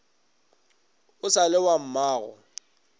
o sa le wa mmago